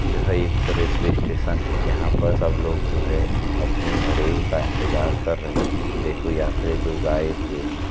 यह एक railway station है। यहाँ पर सब लोग जो है अपने का इन्तेजार कर रहे हैं। देखो यात्री लोग आए हुए हैं।